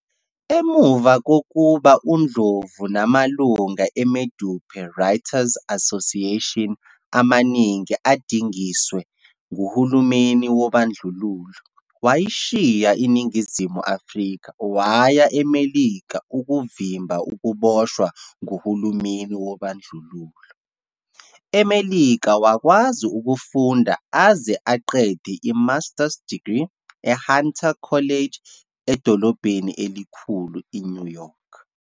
Ngemuva kokuba uNdlovu namalunga e-Medupe Writers Association amaningi adingiswe nguhulumeni wobandlululo, wayishiya INingizimu Afrika waya eMelika ukuvimba ukuboshwa nguhulumeni wobandlululo. EMelika wakwazi ukufunda aze aqede i-master's degree e-Hunter College edolobheni elikhulu i-New York.